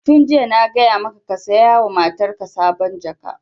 Tun jiya na gaya maka ka saya wa matarka sabon jaka!